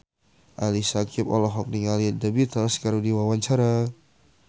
Ali Syakieb olohok ningali The Beatles keur diwawancara